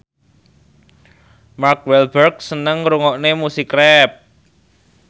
Mark Walberg seneng ngrungokne musik rap